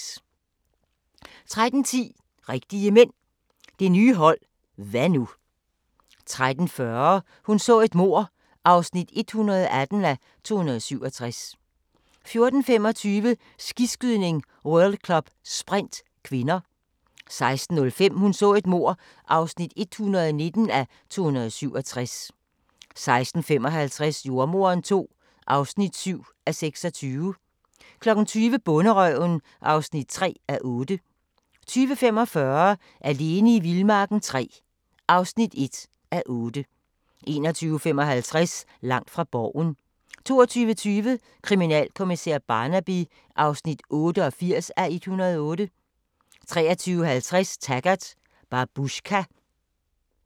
13:10: Rigtige Mænd – det nye hold – hva' nu? 13:40: Hun så et mord (118:267) 14:25: Skiskydning: World Cup - sprint (k) 16:05: Hun så et mord (119:267) 16:55: Jordemoderen II (7:26) 20:00: Bonderøven (3:8) 20:45: Alene i vildmarken III (1:8) 21:55: Langt fra Borgen 22:20: Kriminalkommissær Barnaby (88:108) 23:50: Taggart: Babushka